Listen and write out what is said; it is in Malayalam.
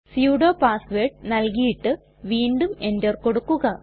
സുഡോ പാസ് വേർഡ് നൽകിയിട്ട് വീണ്ടും എന്റർ കൊടുക്കുക